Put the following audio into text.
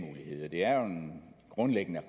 grundlæggende